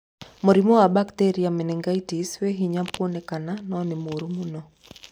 Mũrimũ wa Bacteria menengitis wĩ hinya kwoneka no nĩ mũru mũno.